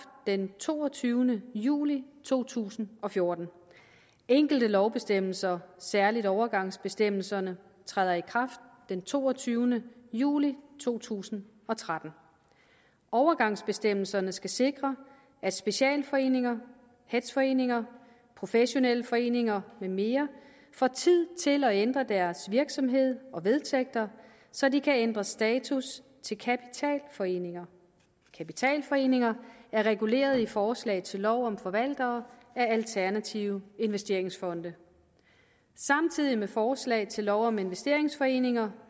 den toogtyvende juli to tusind og fjorten enkelte lovbestemmelser særlig overgangsbestemmelserne træder i kraft den toogtyvende juli to tusind og tretten overgangsbestemmelserne skal sikre at specialforeninger hedgeforeninger professionelle foreninger med mere får tid til at ændre deres virksomhed og vedtægter så de kan ændre status til kapitalforeninger kapitalforeninger er reguleret i forslag til lov om forvaltere af alternative investeringsfonde samtidig med forslag til lov om investeringsforeninger